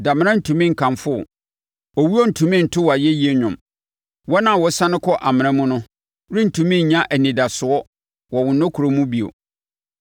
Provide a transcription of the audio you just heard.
Damena rentumi nkamfo wo; owuo rentumi nto wo ayɛyi nnwom; wɔn a wɔsiane kɔ amena mu no rentumi nya anidasoɔ wɔ wo nokorɛ mu bio.